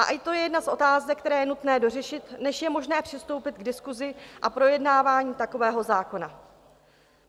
A i to je jedna z otázek, které je nutné dořešit, než je možné přistoupit k diskusi a projednávání takového zákona.